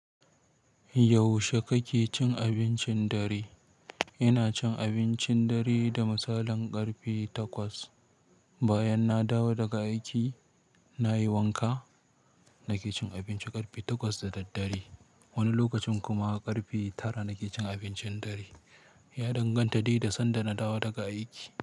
Yaushe kake cin abincin dare? Ina cin abincin dare da misalin ƙarfe takwas. Bayan na dawo daga aiki, nayi wanka, nake cin abinci ƙarfe takwas da daddare. Wani lokacin kuma ƙarfe tara nake cin abincin dare. Ya danganta dai da sanda na dawo daga aiki.